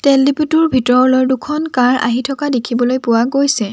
তেল ডিপোটোৰ ভিতৰলৈ দুখন কাৰ আহি থকা দেখিবলৈ পোৱা গৈছে।